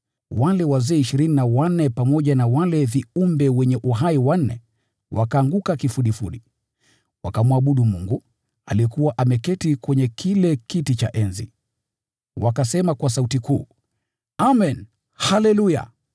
Wale wazee ishirini na wanne pamoja na wale viumbe wanne wenye uhai wakaanguka kifudifudi, wakamwabudu Mungu, aliyekuwa ameketi kwenye kile kiti cha enzi. Wakasema kwa sauti kuu: “Amen, Haleluya!”